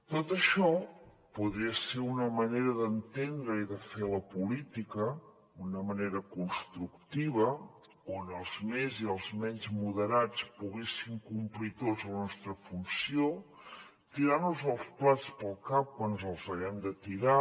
tot això podria ser una manera d’entendre i de fer la política una manera constructiva on els més i els menys moderats poguéssim complir tots la nostra funció tirar nos els plats pel cap quan ens els haguem de tirar